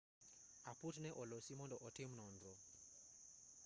aput ne olosi mondo otim nonro